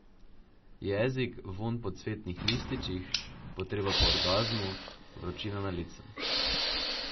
Jezik, vonj po cvetnih lističih, potreba po orgazmu, vročina na licu.